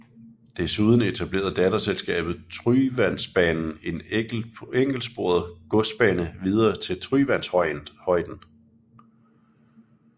Desuden etablerede datterselskabet Tryvandsbanen en enkeltsporet godsbane videre til Tryvandshøiden